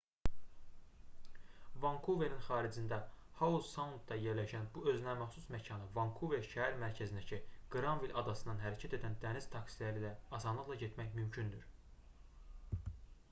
vankuverin xaricində hau-saundda yerləşən bu özünəməxsus məkana vankuver şəhər mərkəzindəki qranvill adasından hərəkət edən dəniz taksiləri ilə asanlıqla getmək mümkündür